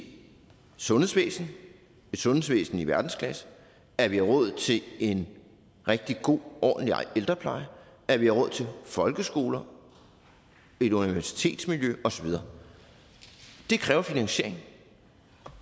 sundhedsvæsen et sundhedsvæsen i verdensklasse at vi har råd til en rigtig god og ordentlig ældrepleje at vi har råd til folkeskoler universitetsmiljø og så videre det kræver finansiering